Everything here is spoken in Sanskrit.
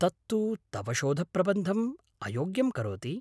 तत्तु तव शोधप्रबन्धं अयोग्यं करोति।